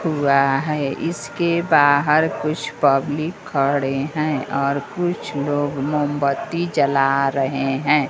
हुआ है इसके बाहर कुछ पब्लिक खड़े हैं और कुछ लोग मोमबत्ती जला रहे हैं।